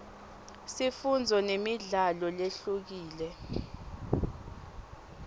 sifundzo nemidlalo lehlukile